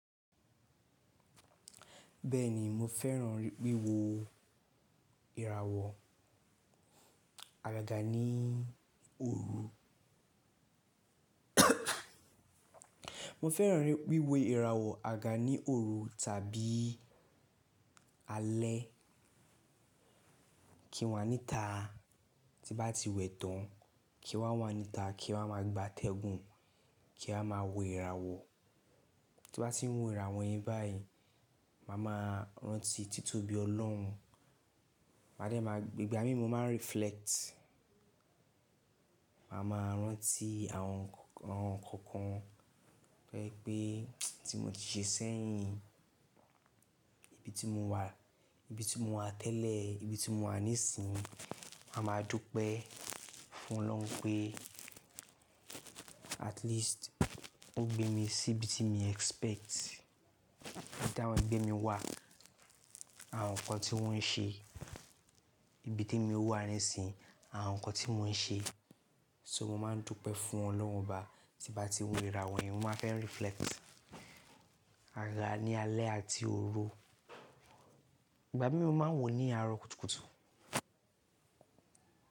Bẹ́ẹ̀ni mo fẹ́ràn wíwo ìràwọ̀ àgàgà ní òru. Mo fẹ́ràn wíwo ìràwọ̀ àgàgà ní òru tàbí alẹ́. Kí wà níta tí bá ti wẹ̀ tán, kí wà wá níta, kí a wá má gba tẹ́gun, kí a má wo ìràwọ̀. Tí bá ti ń wo ìràwọ̀ yẹn báyìí, màá máa rántí títóbi Ọlọ́run. Máa dẹ́ máa, ìgbà mí mo máa ń reflect. Màá máa rántí àwọn nǹkan kan, bẹ́ẹ̀ pé tí mo ti ṣe sẹ́yìn, ibi tí mo wà, ibi tí mo wà tẹ́lẹ̀, ibi tí mo wà nísìínyi, màá máa dúpẹ́ fún Ọlọ́run pé at least ó gbé mi sí ibi tí mìí expect. Ibi táwọn ẹgbẹ́ mi wá, àwọn nǹkan tí wọ́n ń ṣe, ibi t'èmi wà nísìínyi, àwọn nǹkan tí mò ń ṣe. So mo máa ń dúpẹ́ fún Ọlọ́run Ọba tí bá ti ń wo ìràwọ̀ yẹn, mo máa fẹ́ reflect. Àga ní alẹ́ àti òru. Ìgbà mí mo máa ń wo ní àárọ̀ kùtùkùtù.